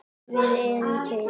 Við erum til!